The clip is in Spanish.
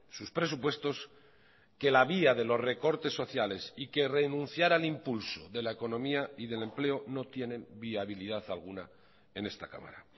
sus presupuestos que la vía de los recortes sociales y que renunciar al impulso de la economía y del empleo no tienen viabilidad alguna en esta cámara